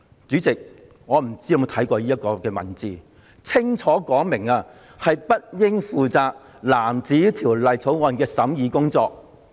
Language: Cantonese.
"主席，我不知道你有否看過這段文字，這裏清楚說明了政策事宜小組不應負責藍紙條例草案的審議工作。